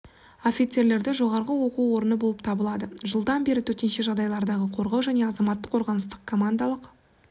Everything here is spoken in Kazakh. офицерлерді жоғарғы оқу орны болып табылады жылдан бері төтенше жағдайлардағы қорғау және азаматтық қорғаныстың командалық